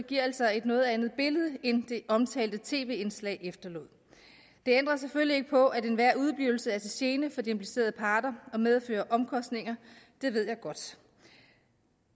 giver altså et noget andet billede end det omtalte tv indslag efterlod det ændrer selvfølgelig ikke på at enhver udeblivelse er til gene for de implicerede parter og medfører omkostninger det ved jeg godt